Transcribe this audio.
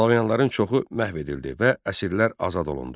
Slavyanların çoxu məhv edildi və əsirlər azad olundu.